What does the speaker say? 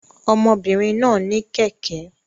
Ọmọbìnrin náà ní kẹ̀kẹ́